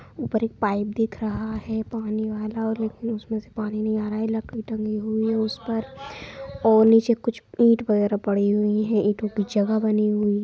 ऊपर एक पाइप दिख रहा है पानी वाला लेकिन उसमें से पानी नहीं आ रहा है लकड़ी टंगी हुई है उसपर और नीचे कुछ ईंट वगेरह पड़ी हुई है ईंटों की जगह बनी हुई--